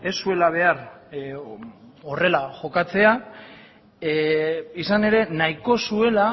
ez zuela behar horrela jokatzea izan ere nahiko zuela